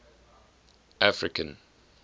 african